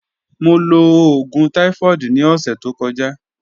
Mo lo oogun typhoid ni ọsẹ to kọja.